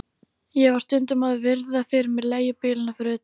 Ég var stundum að virða fyrir mér leigubílana fyrir utan